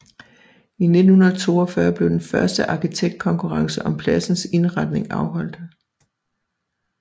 I 1942 blev den første arkitektkonkurrence om pladsens indretning afholdt